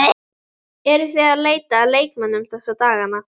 Eruð þið að leita að leikmönnum þessa dagana?